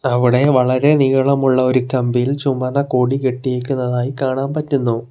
അവിടെ വളരെ നീളമുള്ള ഒരു കമ്പിയിൽ ചുമന്ന കൊടി കെട്ടിയിരിക്കുന്നതായി കാണാൻ പറ്റുന്നു.